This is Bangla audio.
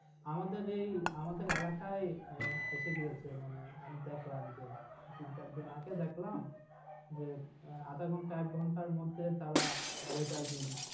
আমাদের এই আমাদের এলাকায় এসে গিয়েছে। মানে আমি দেখলাম যে চৌত্রিশ দিন আগে দেখলাম। যে আধ ঘণ্টা এক ঘণ্টার মধ্যে তাঁরা রেজাল্ট দিচ্ছে।